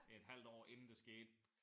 Et halvt år inden det skete